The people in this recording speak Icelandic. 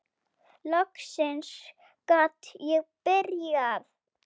Loksins gat ég byrjað!